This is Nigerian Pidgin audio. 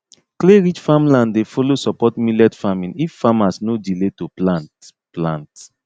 clayrich farmland dey fellow support millet farming if farmers no delay to plant plant